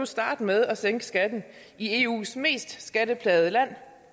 starte med at sænke skatten i eus mest skatteplagede land